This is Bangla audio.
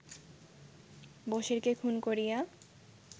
বসিরকে খুন করিয়া